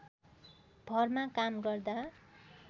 भरमा काम गर्दा